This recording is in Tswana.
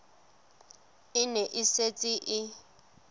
e ne e setse e